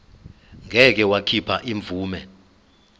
ngeke wakhipha imvume